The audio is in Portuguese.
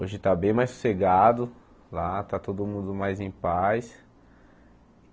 Hoje está bem mais sossegado lá, está todo mundo mais em paz.